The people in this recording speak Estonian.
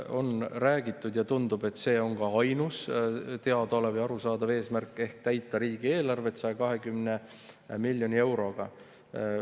On räägitud seda – ja tundub, et see on ka ainus teadaolev ja arusaadav eesmärk –, täita riigieelarvet 120 miljoni euroga.